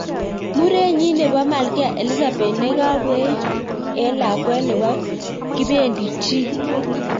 Murenyit nebo Malkia Elizabeth ne kabwey en lakwet nebo kibendi chi.